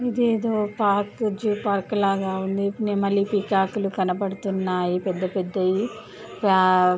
ఇదేదో park zoo park లాగా ఉంది నెమలి పికాకులు కనబడుతున్నాయి పెద్దపెద్దయి --